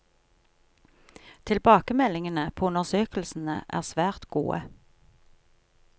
Tilbakemeldingene på undersøkelsene er svært gode.